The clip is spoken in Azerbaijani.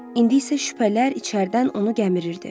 İndi isə şübhələr içərdən onu gəmirirdi.